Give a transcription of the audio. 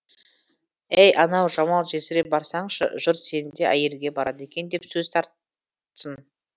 әй анау жамал жесірге барсаңшы жұрт сені де әйелге барады екен деп сөз тартсын